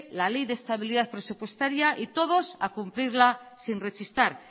la ley de estabilidad presupuestaria y todos a cumplirla sin rechistar